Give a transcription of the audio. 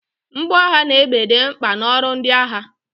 Mgboagha na egbe dị mkpa na ọrụ ndị agha